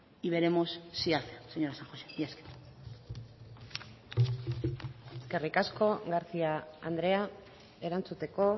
y veremos si hace señora san josé mila esker eskerrik asko garcía andrea erantzuteko